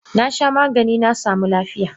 Nasha Maganin nasamu lafiya.